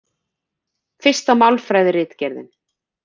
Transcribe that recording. Fyrsta Málfræðiritgerðin.